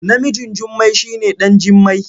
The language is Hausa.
Namijn Jummai shi ne ɗan Jimmai.